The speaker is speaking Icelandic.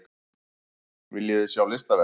Viljiði sjá listaverk?